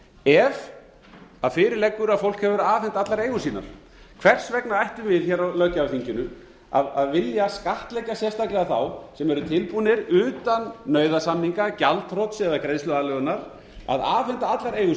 ef fyrir liggur að fólk hefur afhent allar eigur sínar hvers vegna ættum við hér á löggjafarþinginu að vilja skattleggja sérstaklega þá sem eru tilbúnir utan nauðasamninga gjaldþrots eða greiðsluaðlögunar að afhenda allar eigur